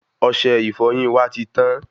Ọsẹ ìfọyín wa ti tán